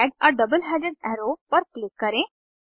add a double headed arrow पर click करें